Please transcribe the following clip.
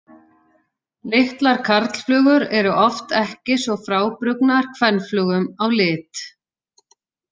Litlar karlflugur eru oft ekki svo frábrugðnar kvenflugum á lit.